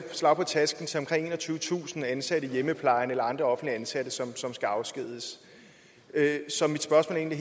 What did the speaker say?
et slag på tasken til omkring enogtyvetusind ansatte i hjemmeplejen eller andre offentligt ansatte som som skal afskediges så mit spørgsmål er